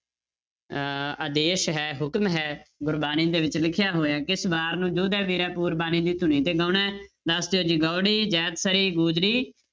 ਅਹ ਆਦੇਸ਼ ਹੈ ਹੁਕਮ ਹੈ ਗੁਰਬਾਣੀ ਦੇ ਵਿੱਚ ਲਿਖਿਆ ਹੋਇਆ ਹੈ, ਕਿਸ ਵਾਰ ਨੂੰ ਜੋਧੇ ਵੀਰੇ ਪੂਰਬਾਣੀ ਦੀ ਧੁਨੀ ਤੇ ਗਾਉਣਾ ਹੈ, ਦੱਸ ਦਿਓ ਜੀ ਗਾਉੜੀ, ਜੈਤਸਰੀ, ਗੁਜਰੀ